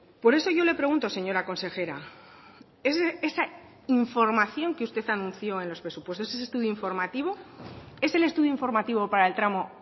por eso yo le pregunto señora consejera esa información que usted anunció en los presupuestos ese estudio informativo es el estudio informativo para el tramo